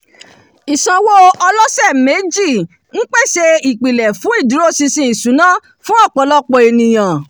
ìsanwó ọlọ́sẹ̀méjì ń pèsè ìpìlẹ̀ fún ìdúróṣinṣin ìṣúná fún ọpọlọpọ ẹnìyàn